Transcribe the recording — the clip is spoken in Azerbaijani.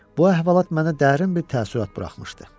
Bu əhvalat mənə dərin bir təəssürat buraxmışdı.